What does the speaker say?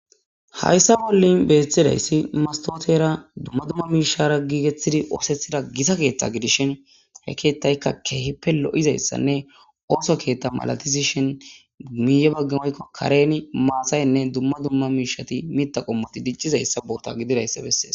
Hayssa bolla bettizayssi mastotera dummadumma mishshara giggetidi othtgetida gitta keththa giddishin he keththayka kehipe lo'izayssanne oththo keththa mala giddishin miyye bagan woyko karen maataynne dumma dumma miththa qommoti diccizayssi bota gididayssa besses.